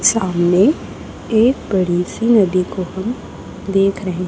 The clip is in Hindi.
सामने एक बड़ी सी नदी को हम देख रहे--